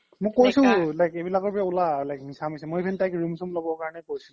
মই কৈছো তাইক এইবিলাকৰ পৰা ওলা মিছা মিছি মই even তাইক room চোমো ল্'ব কৈছো